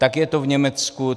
Tak je to v Německu.